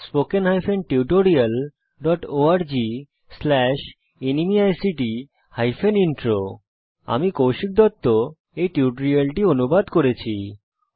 spoken hyphen tutorial dot org slash ন্মেইক্ট hyphen intro আমি কৌশিক দত্ত টিউটোরিয়ালটি অনুবাদ করেছি